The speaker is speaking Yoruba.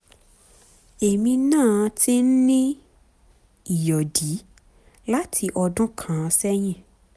èmi náà ti ń ní ìyọ̀dí láti ọdún kan sẹ́yìn